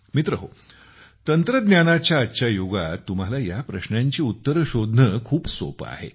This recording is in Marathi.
मित्रहो तंत्रज्ञानाच्या आजच्या युगात तुम्हाला या प्रश्नांची उत्तरे शोधणे खूपच सोपे आहे